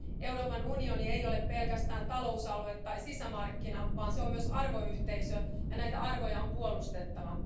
Euroopan unioni ei ole pelkästään talousalue tai sisämarkkina, vaan se on myös arvoyhteisö ja näitä arvoja on puolustettava.